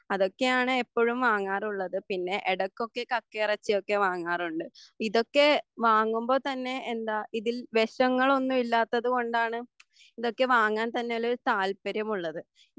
അതൊക്കെയാണ് എപ്പോഴും വാങ്ങാറുള്ളത് പിന്നെ ഇടയ്ക്കൊക്കെ കക്കയിറച്ചിയൊക്കെ വാങ്ങാറുണ്ട് ഇതൊക്കെ വാങ്ങുമ്പോൾ തന്നെ എന്താ ഇതിൽ വിഷങ്ങളൊന്നുമില്ലാത്തതുകൊണ്ടാണ് ഇതൊക്കെ വാങ്ങാൻ തന്നെയൊരു താല്പര്യമുള്ളത്